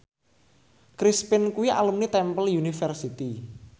Chris Pane kuwi alumni Temple University